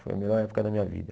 Foi a melhor época da minha vida.